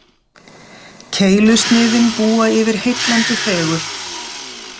Keilusniðin búa yfir heillandi fegurð.